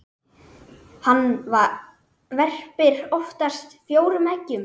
Hann verpir oftast fjórum eggjum.